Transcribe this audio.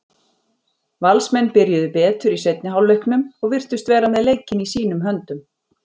Valsmenn byrjuðu betur í seinni hálfleiknum og virtust vera með leikinn í sínum höndum.